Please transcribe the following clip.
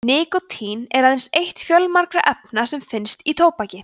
nikótín er aðeins eitt fjölmargra efna sem finnast í tóbaki